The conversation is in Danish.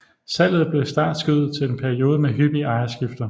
Salget blev startskuddet til en periode med hyppige ejerskifter